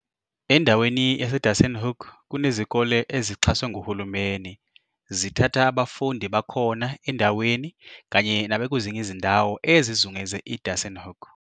Endaweni yaseDassenhoek kunezikole ezixhaswe nguhulumeni, zithatha abafundi bakhona endaweni kanye nabakwezinye izindawo ezizungeze i-Dassenhoek.